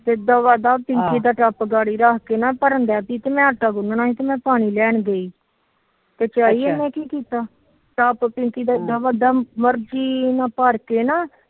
ਫਿਰ ਦਵਾ ਦਵ ਪਿੰਕੀ ਦਾ ਟੱਪ ਮੈ ਆਟਾ ਗੁਨਣਾ ਮੈ ਪਾਣੀ ਲੈਣ ਗਈ ਟੱਪ ਪਿੰਕੀ ਦਾ ਇੱਡਾ ਵੱਡਾ ਭਰ ਕੇ ਨਾ।